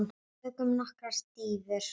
Tökum nokkrar dýfur!